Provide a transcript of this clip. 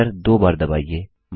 enter दो बार दबाइए